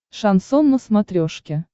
шансон на смотрешке